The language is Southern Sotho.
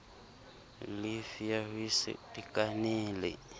llifi ya ho se itekanele